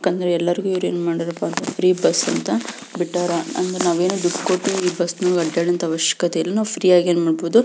ಯಾಕಂದ್ರೆ ಎಲ್ಲರಿಗೂ ಇವ್ರೆನ್ ಮಾಡಿರಪ್ಪಾ ಅಂದ್ರೆ ಫ್ರೀ ಬಸ್ ಅಂತ ಬಿಟ್ಟರೆ ಅಂದ್ರೆ ನಾವೇನು ದುಡ್ ಕೊಟ್ಟು ಇಲ್ಲಿ ಬಸ್ನಾಗ ಅಡ್ಯಡವಂತ ಅವಶ್ಯಕತೆ ಏನು ಇಲ್ಲ ನಾವು ಫ್ರೀ ಆಗಿನ್ನೂ ನೋಡಬಹುದು --